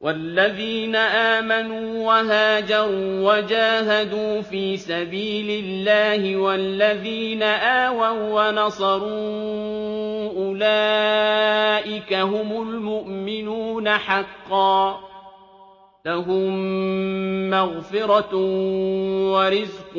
وَالَّذِينَ آمَنُوا وَهَاجَرُوا وَجَاهَدُوا فِي سَبِيلِ اللَّهِ وَالَّذِينَ آوَوا وَّنَصَرُوا أُولَٰئِكَ هُمُ الْمُؤْمِنُونَ حَقًّا ۚ لَّهُم مَّغْفِرَةٌ وَرِزْقٌ